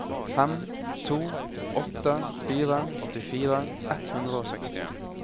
fem to åtte fire åttifire ett hundre og sekstien